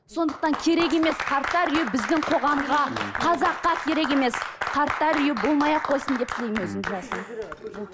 сондықтан керек емес қарттар үйі біздің қоғамға қазаққа керек емес қарттар үйі болмай ақ қойсын деп тілеймін өзім жасым